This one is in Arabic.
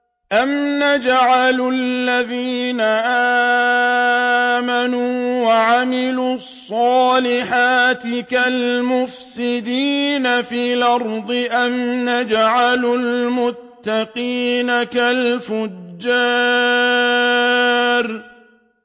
أَمْ نَجْعَلُ الَّذِينَ آمَنُوا وَعَمِلُوا الصَّالِحَاتِ كَالْمُفْسِدِينَ فِي الْأَرْضِ أَمْ نَجْعَلُ الْمُتَّقِينَ كَالْفُجَّارِ